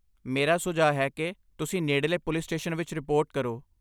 ਮੇਰਾ ਸੁਝਾਅ ਹੈ ਕਿ ਤੁਸੀਂ ਨੇੜਲੇ ਪੁਲਿਸ ਸਟੇਸ਼ਨ ਵਿੱਚ ਰਿਪੋਰਟ ਕਰੋ।